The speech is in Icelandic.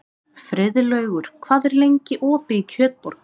Friðlaugur, hvað er lengi opið í Kjötborg?